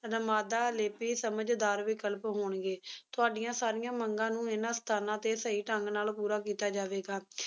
ਲੇਪੀ ਸਮਝਦਾਰ ਵਿਕਲਪ ਹੋਣਗੇ, ਤੁਹਾਡੀਆਂ ਸਾਰੀਆਂ ਮੰਗਾਂ ਨੂੰ ਇਹਨਾਂ ਸਥਾਨਾਂ ਤੇ ਸਹੀ ਢੰਗ ਨਾਲ ਪੂਰਾ ਕੀਤਾ ਜਾਵੇਗਾ